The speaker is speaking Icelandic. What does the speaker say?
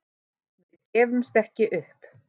Við gefumst ekki upp